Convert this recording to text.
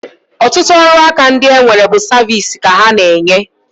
Ọtụtụ ọrụaka ndị e nwere bụ saviisi ka ha na-enye